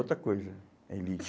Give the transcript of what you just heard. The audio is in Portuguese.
Outra coisa, é elite.